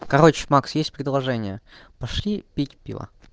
короче макс есть предложение пошли пить пиво